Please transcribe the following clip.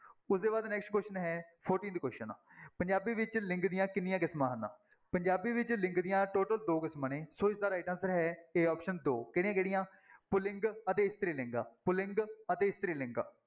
ਉਹਦੇ ਬਾਅਦ next question ਹੈ fourteenth question ਪੰਜਾਬੀ ਵਿੱਚ ਲਿੰਗ ਦੀਆਂ ਕਿੰਨੀਆਂ ਕਿਸਮਾਂ ਹਨ, ਪੰਜਾਬੀ ਵਿੱਚ ਲਿੰਗ ਦੀਆਂ total ਦੋ ਕਿਸਮਾਂ ਨੇ ਸੋ ਇਸਦਾ right answer ਹੈ a option ਦੋ ਕਿਹੜੀਆਂ ਕਿਹੜੀਆਂ ਪੁਲਿੰਗ ਅਤੇ ਇਸਤਰੀ ਲਿੰਗ, ਪੁਲਿੰਗ ਅਤੇ ਇਸਤਰੀ ਲਿੰਗ।